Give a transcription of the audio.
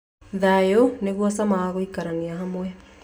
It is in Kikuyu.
Thayũ nĩguo cama wa gũikarania hamwe